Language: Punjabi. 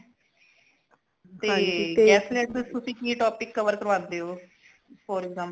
ਤੇ guest lecture ਤੁਸੀ ਕਿ topic cover ਕਰਵਾਂਦੇ ਹੋ for example